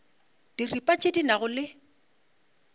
diripa tše di nago le